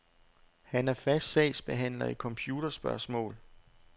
Han er fast sagsbehandler i computerspørgsmål.